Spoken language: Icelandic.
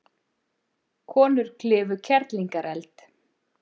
Konur klifu Kerlingareld